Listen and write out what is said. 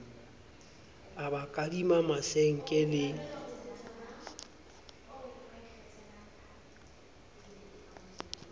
a ba kadima masenke le